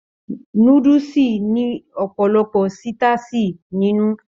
Núdúsí ní ọpọlọpọ sitasi nínú.